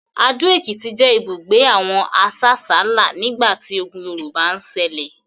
Ado-Ekiti jẹ ibugbe awon asasala nigbati ogùn Yorùbá ń ṣẹlẹ